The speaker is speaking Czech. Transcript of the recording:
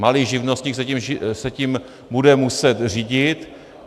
Malý živnostník se tím bude muset řídit.